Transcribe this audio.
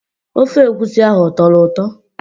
Ofe egwusi ahụ ọ tọrọ ụtọ?